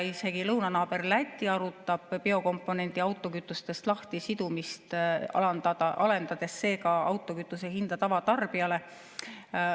Isegi lõunanaaber Läti arutab biokomponendi lahtisidumist autokütustest, et alandada sellega autokütuse hinda tavatarbijale.